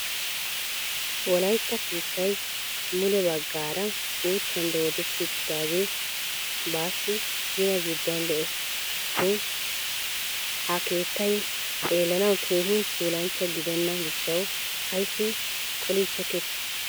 wolaytta keettay mule baggaara uuttan dooddeti uttidaagee bassi gina gidduwan de'ees. shin ha keettay xeellanaw keehin puulanchcha gidena gishshaw ayssi qolichchekketi?